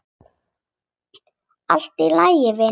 Allt í lagi, vinur.